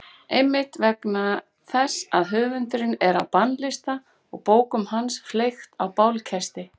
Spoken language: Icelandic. Einmitt vegna þess að höfundurinn er á bannlista og bókum hans fleygt á bálkestina.